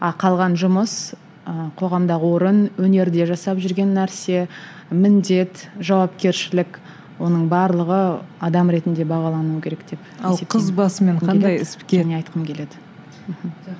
а қалған жұмыс ыыы қоғамдағы орын өнерде жасап жүрген нәрсе міндет жауапкершілік оның барлығы адам ретінде бағалануы керек деп есептеймін